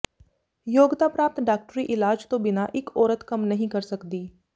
ਯੋਗਤਾ ਪ੍ਰਾਪਤ ਡਾਕਟਰੀ ਇਲਾਜ ਤੋਂ ਬਿਨਾਂ ਇਕ ਔਰਤ ਕੰਮ ਨਹੀਂ ਕਰ ਸਕਦੀ